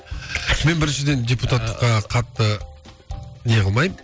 мен біріншіден депутаттыққа қатты не қылмаймын